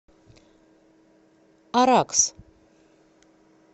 аракс